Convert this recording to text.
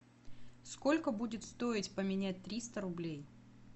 сколько будет стоить поменять триста рублей